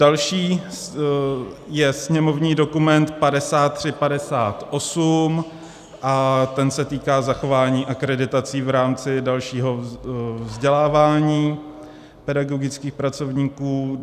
Další je sněmovní dokument 5358 a ten se týká zachování akreditací v rámci dalšího vzdělávání pedagogických pracovníků.